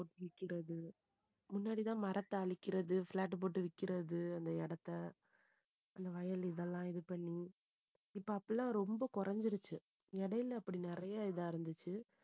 விக்கிறது. முன்னாடிதான் மரத்த அழிக்கிறது flat போட்டு விக்கிறது அந்த இடத்தை அந்த வயல் இதெல்லாம் இது பண்ணி இப்ப அப்படியெல்லாம் ரொம்ப குறைஞ்சிருச்சு இடையில அப்படி நிறைய இதா இருந்துச்சு